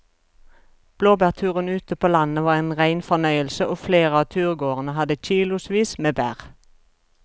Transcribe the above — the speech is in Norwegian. Blåbærturen ute på landet var en rein fornøyelse og flere av turgåerene hadde kilosvis med bær.